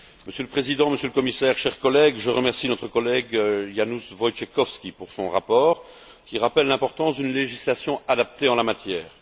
Monsieur le Président, Monsieur le Commissaire, chers collègues, je remercie notre collègue, Janusz Wojciechowski, pour son rapport qui rappelle l'importance d'une législation adaptée en la matière.